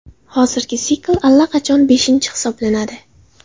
Hozirgi sikl allaqachon beshinchi hisoblanadi.